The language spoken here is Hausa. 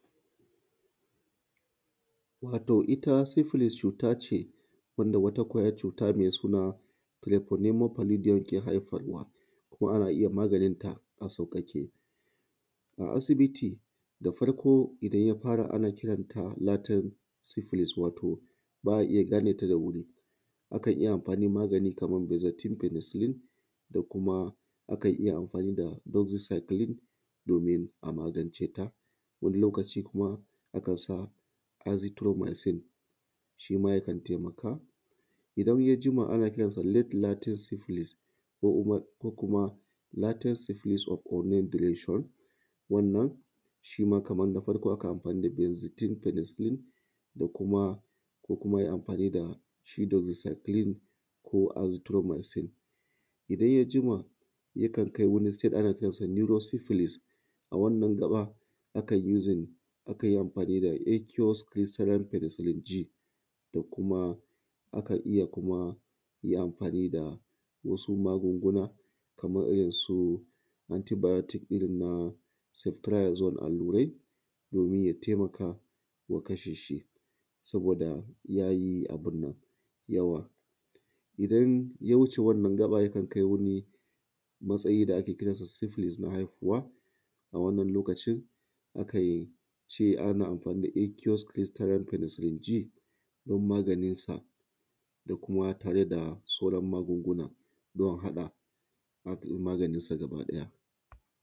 Wato ita syphilis cuta ce wanda wata ƙwayar cuta mai suna ‘Treponema Palidium’ ke haifarwa kuma ana iya maganinta a sauƙaƙe. A asibiti da farko idan ya fara ana kiranta latent syphilis wato ba a iya gane ta da wuri. A kan iya amfani magani kamar Benzathine Penicillin da kuma akan iya amfani da Doxycycline domin a magance ta. Wani lokaci kuma kan sa Azithromycin shi ma yakan taimaka. Idan ya jima ana kiransa ‘Late Latent Syphilis’ ko kuma ‘Latent Syphilis of Unknown Duration’. Wannan shi ma kamar na farko akan yi amfani da Benzathine Penicillin ko kuma ko kuma a yi amfani da shi Doxycycline ko Azithromycin. Idan ya jima yakan kai wani stage, ana kiransa ‘Neuro Syphilis’. A wannan gaɓa akan using, akan yi amfani da ‘Aqueous Crystalline Penicillin G’ da kuma akan iya kuma yi amfani da wasu magunguna kamar irin su: anti-biotic irin na Ceftriaxone allurai domi ya taimaka wa kasha shi, saboda ya yi abin nan, yawa. Idan ya wuce wannan gaɓa yakan kai wani matsayi da ake kiransa Syphilis na haihuwa. A wannan lokacin akan ce ana amfani da ‘Aqueous Crystalline Penicillin G’ don maganinsa da kuma tare da sauran magunguna don haɗa maganisa gaba ɗaya.